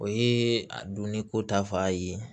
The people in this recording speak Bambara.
O ye a doni ko ta fan ye